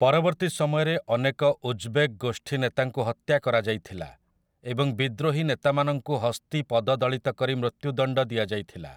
ପରବର୍ତ୍ତୀ ସମୟରେ ଅନେକ ଉଜ୍ବେକ୍ ଗୋଷ୍ଠୀନେତାଙ୍କୁ ହତ୍ୟା କରାଯାଇଥିଲା, ଏବଂ ବିଦ୍ରୋହୀ ନେତାମାନଙ୍କୁ ହସ୍ତୀ ପଦଦଳିତ କରି ମୃତ୍ୟୁଦଣ୍ଡ ଦିଆଯାଇଥିଲା ।